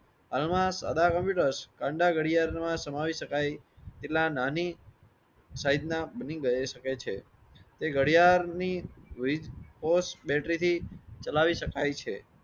હાલમાં સાઢા કોમ્પ્યુટર્સ ગડિયાળ માં સમાવી શકાય એટલા નાની સીઝે ના બની શકે છે એ ગડિયાળ ની બેટરી થી ચલાવી શકાય છે